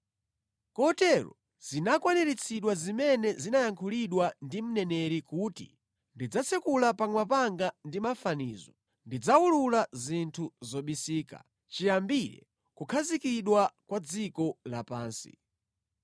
Kotero zinakwaniritsidwa zimene zinayankhulidwa ndi mneneri kuti, “Ndidzatsekula pakamwa panga ndi mafanizo, ndidzawulula zinthu zobisika chiyambire kukhazikidwa kwa dziko lapansi.”